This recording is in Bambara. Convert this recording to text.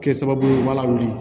Kɛ sababu ye ba la wuli